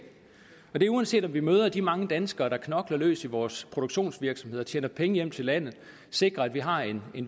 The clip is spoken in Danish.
og det er uanset om vi møder alle de mange danskere der knokler løs i vores produktionsvirksomheder tjener penge hjem til landet og sikrer at vi har en